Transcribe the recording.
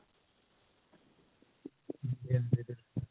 ਜੀ ਹਾਂਜੀ ਜਰੁਰ